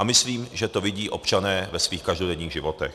A myslím, že to vidí občané ve svých každodenních životech.